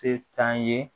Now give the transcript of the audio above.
Se t'an ye